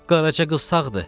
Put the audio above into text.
Qarajı qız sağdır,